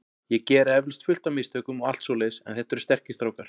Ég geri eflaust fullt af mistökum og allt svoleiðis en þetta eru sterkir strákar.